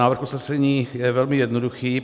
Návrh usnesení je velmi jednoduchý.